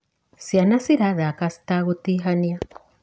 Ciana cirathaka citagũtihania.